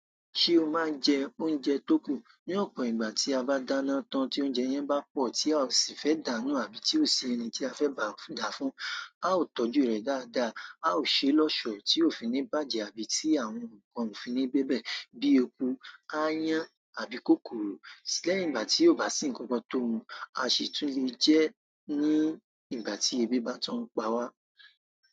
Se o máa n jẹ oúnjẹ tó kù? Ní ọ̀pọ̀ ìgbà tí a bá dáná tán tí oúnjẹ yẹn bá pọ̀ tí a ò sì fẹ́ dàánú àbí tí ò sí ẹni tí a fẹ́ bá dàá fún. A ó tọ́jú rẹ̀ dáadáa, a ó ṣeé lọ́ ọ̀ṣọ̀ tí òfi ní bàjẹ́ àbí tí àwọn nǹkan òfi ní bébè bíi eku, áayán àbí kòkòrò. Lẹ́yìn ìgbà ti o ba si nkankan to mu a si tun le je ni ìgbà ti ebi ba tun n pa wa.